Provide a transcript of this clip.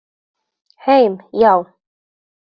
Heim, já.